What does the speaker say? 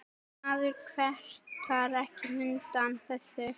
Maður kvartar ekki undan þessu.